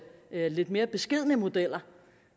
lidt mere beskedne modeller